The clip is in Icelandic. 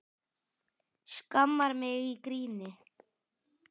Skammar mig í gríni.